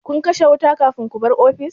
Kun kashe wuta kafin ku bar ofis?